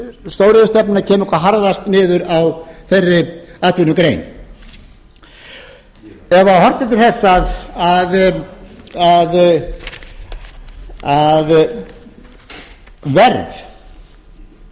ruðningsáhrifin stóriðjustefnunnar kemur hvað harðast niður á þeirri atvinnugrein ef horft er til þess að verð á ferðum